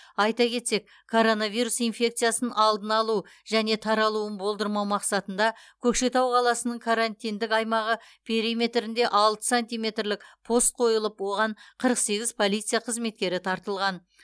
айта кетсек коронавирус инфекциясын алдын алу және таралуын болдырмау мақсатында көкшетау қаласының карантиндік аймағы периметірінде алты санитарлық пост қойылып оған қырық сегіз полиция қызметкері тартылған